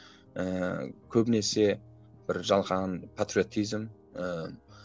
ііі көбінесе бір жалған патриотизм ііі